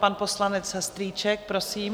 Pan poslanec Strýček, prosím.